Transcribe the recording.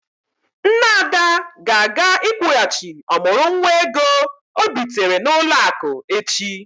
Nne Ada ga-aga ịkwụghachi ọmụrụ nwa ego ọ bitere n'ụlọ akụ echi.